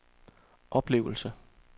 oplevelse